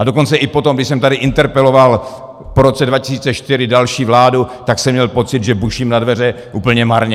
A dokonce i potom, když jsem tady interpeloval po roce 2004 další vládu, tak jsem měl pocit, že buším na dveře úplně marně.